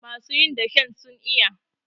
masu yin dashen zo iya!